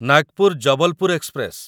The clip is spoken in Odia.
ନାଗପୁର ଜବଲପୁର ଏକ୍ସପ୍ରେସ